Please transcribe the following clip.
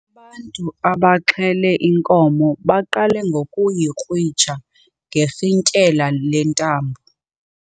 Ubantu abaxhele inkomo baqale ngokuyikrwitsha ngerhintyela lentambo.